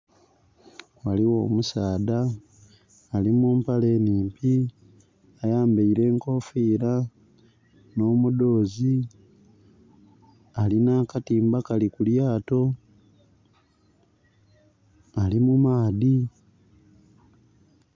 Ghaligho omusaadha ali mu mpale nhimpi ayambeire enkofira nho mudhozi alina akatimba kali ku lyato ali mu maadhi